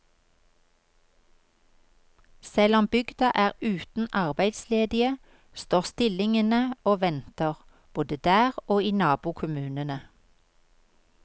Selv om bygda er uten arbeidsledige, står stillingene og venter, både der og i nabokommunene.